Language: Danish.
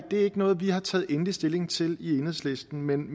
ikke noget vi har taget endelig stilling til i enhedslisten men